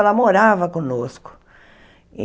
Ela morava conosco.